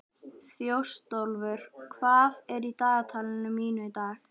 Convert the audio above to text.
Þjóstólfur, hvað er í dagatalinu mínu í dag?